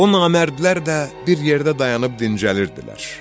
O namərdlər də bir yerdə dayanıb dincəlirdilər.